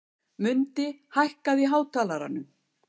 Mundi, hækkaðu í hátalaranum.